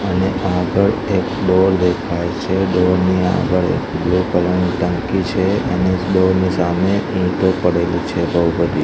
અને આગળ એક ડોર દેખાય છે ડોર ની આગળ એક બ્લુ કલર ની ટાંકી છે અને એક ડોર ની સામે ઈંટો પડેલી છે બઉ બધી.